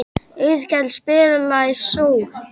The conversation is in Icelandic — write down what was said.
Auðkell, spilaðu lagið „Sól“.